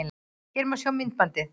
Hér má sjá myndbandið